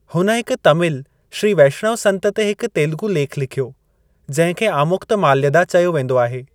हुन हिक तमिल श्री वैष्णव संतु ते हिकु तेलुगु लेखु लिखियो, जंहिं खे आमुक्तमाल्यदा चयो वेंदो आहे।